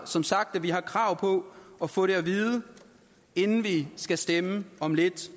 som sagt at vi har krav på at få det at vide inden vi skal stemme om lidt